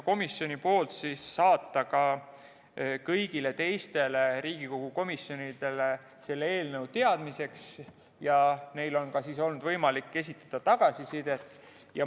Komisjon otsustas saata eelnõu ka kõigile teistele Riigikogu komisjonidele teadmiseks ja neil on olnud võimalik anda tagasisidet.